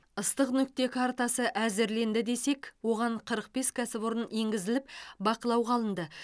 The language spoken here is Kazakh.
ыстық нүкте картасы әзірленді десек оған қырық бес кәсіпорын енгізіліп бақылауға алынды